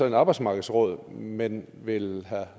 et arbejdsmarkedsråd men vil herre